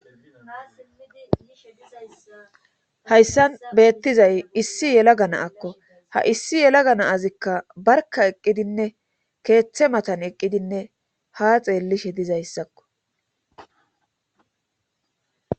Hayssan beettizay issi yela gana akko ha issi yela ganaazikka barka eqqidinne keeththe matan eqqidinne ha xeellishe dizayssakko.